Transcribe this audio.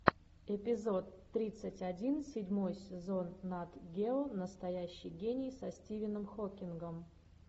эпизод тридцать один седьмой сезон нат гео настоящий гений со стивеном хокингом